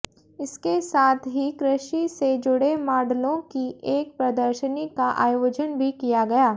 इसके साथ ही कृषि से जुड़े माडलों की एक प्रदर्शनी का आयोजन भी किया गया